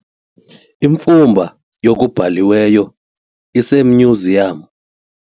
Imfumba yokubhaliweyo isemyuziyamu.